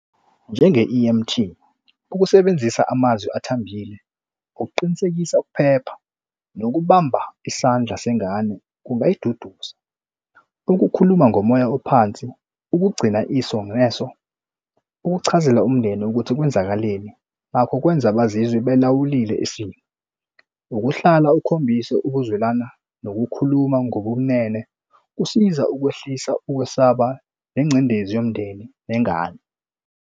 Njenge-E_M_T ukusebenzisa amazwi athambile ukuqinisekisa ukuphepha nokubamba isandla sengane kungayiduduza ukukhuluma ngomoya ophansi, ukugcina iso ngeso ukuchazela umndeni ukuthi kwenzakaleni lakho kwenza bazizwe belawulile isimo. Ukuhlala ukhombise ukuzwelana nokukhuluma ngobunene kusiza ukwehlisa ukwesaba nengcindezi yomndeni nengane.